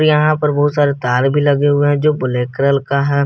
यहां पर बहुत सारे तार भी लगे हुए हैं जो ब्लैक कलर का है।